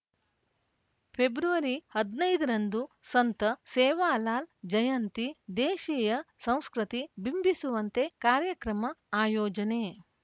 February ಹದಿನೈದು ರಂದು ಸಂತ ಸೇವಾಲಾಲ್‌ ಜಯಂತಿ ದೇಶಿಯ ಸಂಸ್ಕೃತಿ ಬಿಂಬಿಸುವಂತೆ ಕಾರ್ಯಕ್ರಮ ಆಯೋಜನೆ